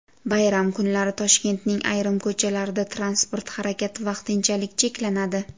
Bayram kunlari Toshkentning ayrim ko‘chalarida transport harakati vaqtinchalik cheklanadi.